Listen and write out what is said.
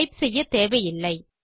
type செய்யத்தேவையில்லை